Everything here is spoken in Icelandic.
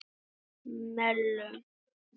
Melum